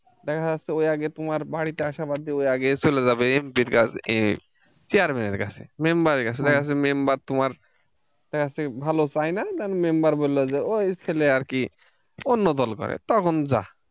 দেখা যাচ্ছে ওই আগে তোমার বাড়িতে আসা বাদ দিয়ে আগেই চলে যাবে MP র কাছে chairman এর কাছে member এর কাছে দেখা যাচ্ছে member তোমার দেখা যাচ্ছে ভালো চায় না then member বলল যে ওই ছেলে আর কি অন্য দল করে তখন যাহ,